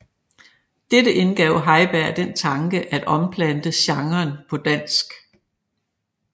Dette indgav Heiberg den tanke at omplante genren på dansk